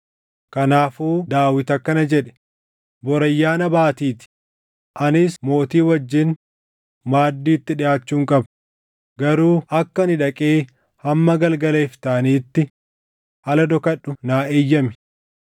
Kanaafuu Daawit akkana jedhe; “Bor Ayyaana Baatii ti; anis mootii wajjin maaddiitti dhiʼaachuun qaba; garuu akka ani dhaqee hamma galgala iftaaniitti ala dhokadhu naa eeyyami.